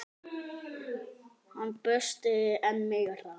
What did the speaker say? Hann brosti enn meira.